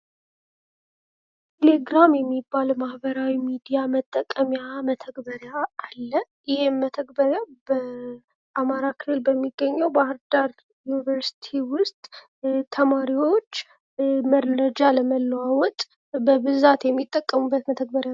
ቴሌግራም የሚባል ማህበራዊ ሚዲያ መጠቀሚያ መተግበሪያ አለ ይህም መተግበሪያ በአማራ ክልል በሚገኘው በባህር ዳር ዩኒቨርስቲ ውስጥ ተማሪዎች መረጃ ለመለዋወጥ በብዛት የሚጠቀሙበት መተግበሪያ ነው ።